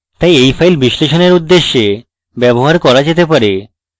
তাই এই file বিশ্লেষণের উদ্দেশ্যে ব্যবহার করা যেতে পারে